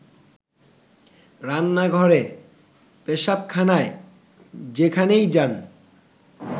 রান্নাঘরে, পেশাবখানায় যেখানেই যান